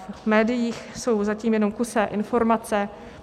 V médiích jsou zatím jenom kusé informace.